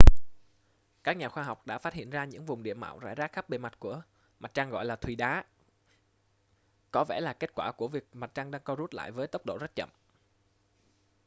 các nhà khoa học đã phát hiện ra những vùng địa mạo rải rác khắp bề mặt của mặt trăng gọi là thùy đá có vẻ là kết quả của việc mặt trăng đang co rút lại với tốc độ rất chậm